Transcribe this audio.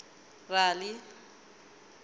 rali